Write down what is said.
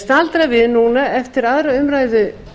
staldra við núna eftir aðra umræðu